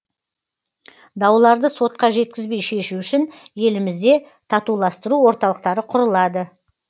дауларды сотқа жеткізбей шешу үшін елімізде татуластыру орталықтары құрылады